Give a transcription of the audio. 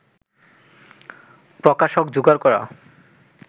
প্রকাশক জোগাড় করা